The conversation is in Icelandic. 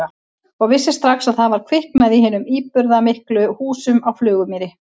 Og vissi strax að það var kviknað í hinum íburðarmiklu húsum á Flugumýri.